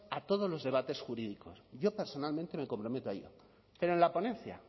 a todos los debates jurídicos yo personalmente me comprometo a ello pero en la ponencia